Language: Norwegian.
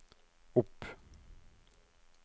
opp